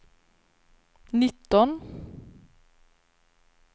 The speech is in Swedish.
nitton